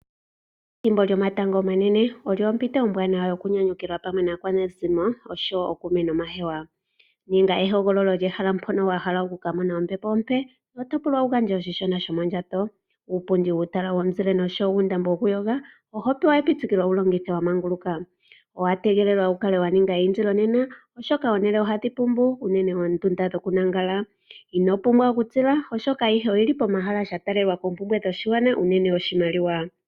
Ethimbo lyomatango omanene olyo ompito ombwanawa yokunyanyukilwa pamwe naakwanezimo oshowo ookume nomahewa ninga ehogololo lyehala mpono wa hala okuka mona ombepo ompe noto pulwa wu gandje oshishona shomondjato uupundi wuutala womuzile noshowo uundambo wokuyoga oho pewa epitikilo wu longithe wa manguluka owa tegelelwa wu kale wa ninga eyindilo nena oshoka omahala ohaga pumbu uunene oondunda dhokulala ino pumbwa okutila oshoka ayiye oyili pomahala sha talela poompumbwe dho shigwana uunene oshimaliwa.